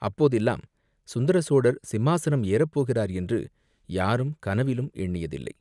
அப்போதெல்லாம் சுந்தர சோழர் சிம்மாசனம் ஏறப் போகிறார் என்று யாரும் கனவிலும் எண்ணியதில்லை.